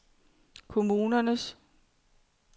kommunernes